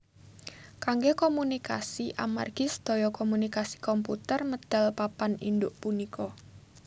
Kanggé komunikasi amargi sedaya komunikasi komputer medal papan induk punika